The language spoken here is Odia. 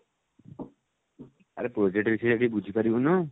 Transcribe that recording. ଆରେ project ବିଷୟରେ ଯାଇକି ବୁଝିପାରିବୁନୁ?